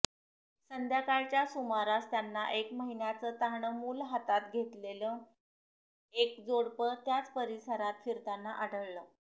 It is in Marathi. संध्याकाळच्या सुमारास त्यांना एक महिन्याचं तान्हं मूल हातात घेतलेलं एक जोडपं त्याच परिसरात फिरताना आढळलं